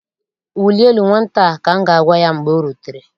Wulie elu nwata a! ka m ga-agwa ya mgbe o rutere.